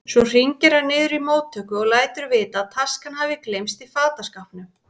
Svo hringir hann niður í móttöku og lætur vita að taska hafi gleymst í fataskápnum.